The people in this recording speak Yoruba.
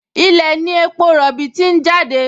Ilẹ̀ ní epo rọ̀bì ti ń jáde